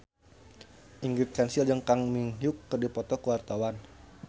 Ingrid Kansil jeung Kang Min Hyuk keur dipoto ku wartawan